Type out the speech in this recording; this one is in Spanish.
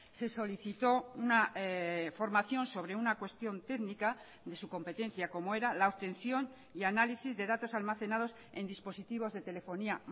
se solicitó una formación sobre una cuestión técnica de su competencia como era la obtención y análisis de datos almacenados en dispositivos de telefonía